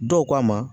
Dɔw k'a ma